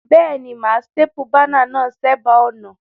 Béèni, mà á staple banner náà sébàá ònà